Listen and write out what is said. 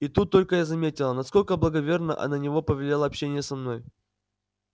и тут только я заметила насколько благоверно на него повлияло общение со мной